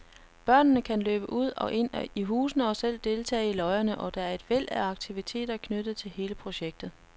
Børnene kan løbe ud og ind i husene og selv deltage i løjerne, og der er et væld af aktiviteter knyttet til hele projektet.